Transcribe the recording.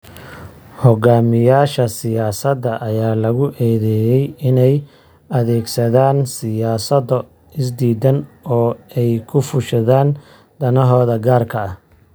Hogaamiyayaasha siyaasada ayaa lagu eedeeyaa inay adeegsadaan siyaasado isdiidan oo ay ku fushadaan danahooda gaarka ah.